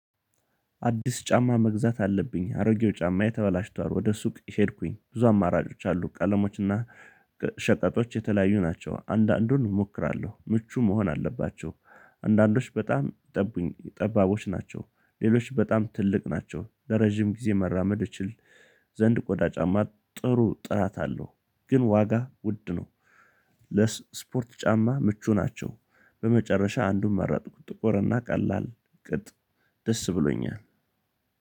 አዲስ ጫማ መግዛት አለብኝ አሮጌው ጫማዬ ተበላሽቷል። ወደ ሱቅ ሄድኩኝ ብዙ አማራጮች አሉ ቀለሞች እና ሸቀጦች የተለያዩ ናቸው። አንዳንዱን እሞክራለሁ ምቹ መሆን አለባቸው። አንዳንዶች በጣም ጠባቦች ናቸው ሌሎች በጣም ትልቅ ናቸው። ለረጅም ጊዜ መራመድ እችል ዘንድ ቆዳ ጫማ ጥሩ ጥራት አለው። ግን ዋጋ ውድ ነው። ለስፖርት ጫማ ምቹ ናቸው። በመጨረሻ አንዱን መረጥኩ ጥቁር እና ቀላል ቅጥ ደስ ብሎኛል።